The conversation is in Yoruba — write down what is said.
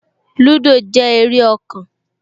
Lúdò jẹ́ eré ọkàn